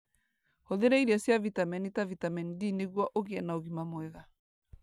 Hũthĩra irio cia vitameni ta vitameni D nĩguo ũgĩe na ũgima mwega.